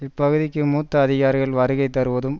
இப்பகுதிக்கு மூத்த அதிகாரிகள் வருகை தருவதும்